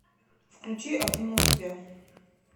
включи обниму тебя